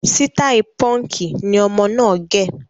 Sitai Pọ́nkì ni ọmọ náà gẹ